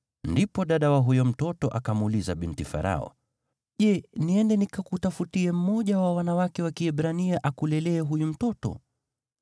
Ndipo dada wa huyo mtoto akamuuliza binti Farao, “Je, niende nikakutafutie mmoja wa wanawake wa Kiebrania akulelee huyu mtoto?”